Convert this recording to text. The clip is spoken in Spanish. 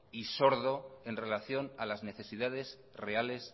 y sordo en relación a las necesidades reales